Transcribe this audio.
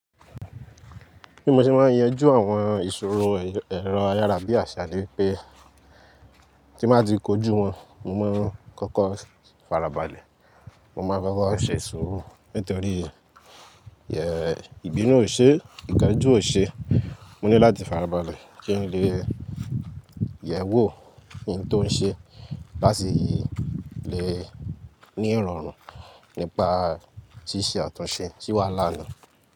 Bí mo ṣe máa ń yanjú àwọn ìṣòro ẹ̀rọ ayárabíàṣá ni pé tí màá ti kojú wọn, mo máa ń kọ́kọ́ farabalẹ̀. Mo máa fẹ́ kó ṣe sùúrù nítorí ìbínú ò ṣe, ìkanjú ò ṣe. Mo ní láti farabalẹ̀ kí n lè yẹ̀ ẹ́ wò kí n tó ṣe láti lè ní ìrọ̀rùn nípa tíṣì àtúnṣe tí ó wà lánàá.